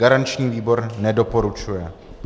Garanční výbor nedoporučuje.